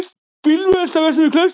Bílvelta vestan við Klaustur